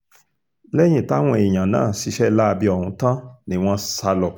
lẹ́yìn táwọn èèyàn náà ṣiṣẹ́ láabi ọ̀hún tán ni wọ́n sá lọ